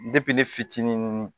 ne fitininnn